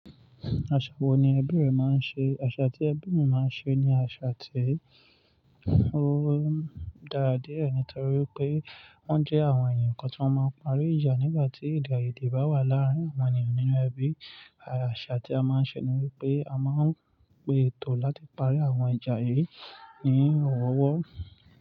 Aṣa wo ni ẹbí rẹ máa ń ṣe? Aṣa tí ẹbí mi máa ń ṣe ni aṣa tí ó dára diẹ̀ nítorí pé wọ́n jẹ́ àwọn èèyàn kan tó máa ń parí ìjà nígbà tí èdè aye'de bá wà láàárín àwọn ènìyàn nínú ẹbí. Aṣa tí a máa ń ṣe ni wípé a máa ń pe ètò láti parí àwọn ìjà yìí ní ọ̀wọ̀ọ̀wọ́.